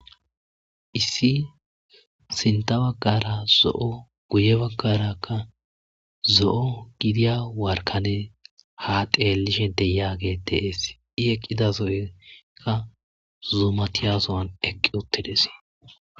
issi sinta baggara zo7o guye baggarakka zo7o gidiya warkane ha teelishe deyage dees i eqqida zo7ekka zuumatiya zo7an eqqi uttides